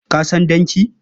Ka san danki?